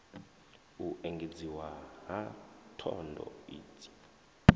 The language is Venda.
u engedziwa ha thondo idzi